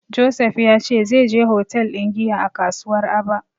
Joseph ya ce zai je hotel ɗin giya a kasuwar Aba.